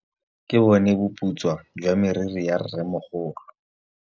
Ke bone boputswa jwa meriri ya rrêmogolo.